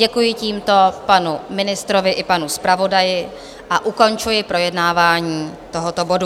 Děkuji tímto panu ministrovi i panu zpravodaji a ukončuji projednávání tohoto bodu.